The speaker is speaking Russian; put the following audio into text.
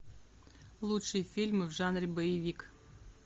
лучшие фильмы в жанре боевик